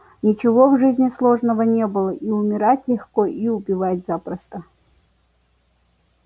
ничего в жизни сложного не было и умирать легко и убивать запросто